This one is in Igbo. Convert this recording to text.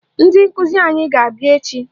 Ndị nkụzi anyị ga-abịa echi